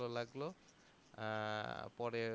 ভালো লাগলো আহ পরে